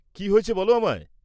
কি হয়েছে বল আমায়।